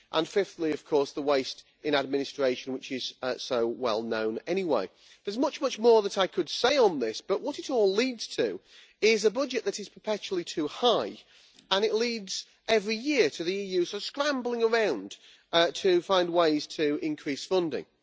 And fifthly, of course, the waste in administration, which is so well known anyway. There is much more that I could say on this, but what it all leads to is a budget that is perpetually too high, and it leads every year to the EU scrambling around to find ways to increase funding.